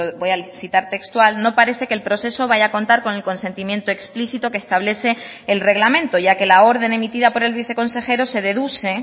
voy a citar textual no parece que el proceso vaya a contar con el consentimiento explícito que establece el reglamento ya que la orden emitida por el viceconsejero se deduce